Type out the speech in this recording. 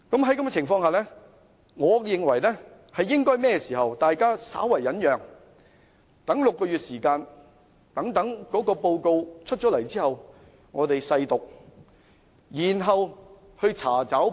在這種情況下，我認為大家應該稍為忍耐，待6個月後報告完成後，我們細讀，然後查找不足。